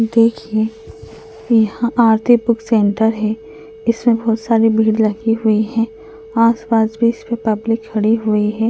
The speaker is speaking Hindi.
देखिये यहाँ आरती बुक सेंटर है इसमें बहुत सारी भीड़ लगी हुई है आस-पास भी इसके पब्लिक खड़ी हुई है।